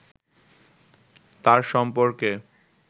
তার সম্পর্কে